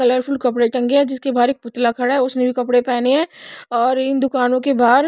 colourful कपड़े टंगे हैं जिसके बाहर एक पुतला खड़ा है उसने भी कपड़े पहने हैं और इन दुकानों के बाहर--